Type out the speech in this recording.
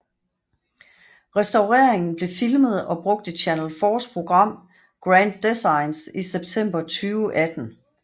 Restaureringen blev filmet og brugt i Channel 4s program Grand Designs i september 2018